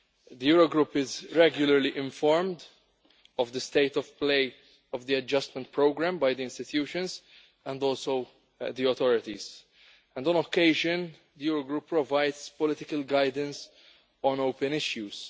The Eurogroup is regularly informed of the state of play of the adjustment programme by the institutions and also the authorities, and on occasion the Eurogroup provides political guidance on open issues.